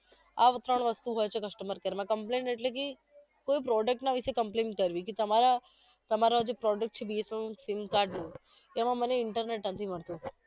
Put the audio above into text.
આ ત્રણ વસ્તુ હોય છે customer care માં complain એટલે કે કોઈ product ના વિશે complain કરવી કે તમારા તમારા જે product છે BSNLsim card નું એમાં મને internet નથી મળતું